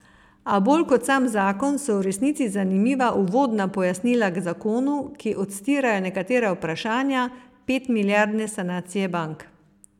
A bolj kot sam zakon so v resnici zanimiva uvodna pojasnila k zakonu, ki odstirajo nekatera vprašanja petmilijardne sanacije bank.